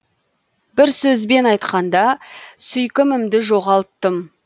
бір сөзбен айтқанда сүйкімімді жоғалттым